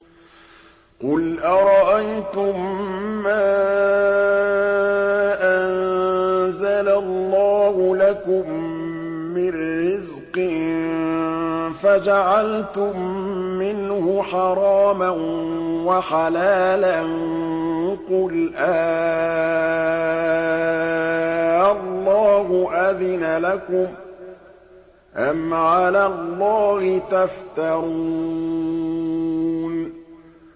قُلْ أَرَأَيْتُم مَّا أَنزَلَ اللَّهُ لَكُم مِّن رِّزْقٍ فَجَعَلْتُم مِّنْهُ حَرَامًا وَحَلَالًا قُلْ آللَّهُ أَذِنَ لَكُمْ ۖ أَمْ عَلَى اللَّهِ تَفْتَرُونَ